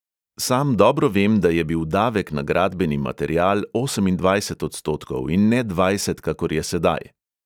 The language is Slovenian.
Sam dobro vem, da je bil davek na gradbeni material osemindvajset odstotkov in ne dvajset, kakor je sedaj.